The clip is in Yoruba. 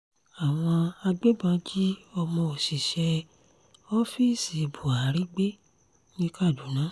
àwọn agbébọn jí ọmọ òṣìṣẹ́ ọ́fíìsì buhari gbé ní kaduna